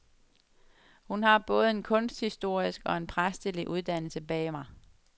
Hun har både en kunsthistorisk og en præstelig uddannelse bag mig.